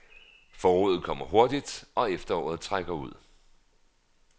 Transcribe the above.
Foråret kommer hurtigt og efteråret trækker ud.